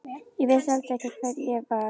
Ég vissi heldur ekki hver ég var.